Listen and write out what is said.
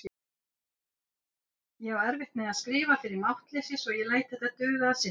Ég á erfitt með að skrifa fyrir máttleysi svo ég læt þetta duga að sinni.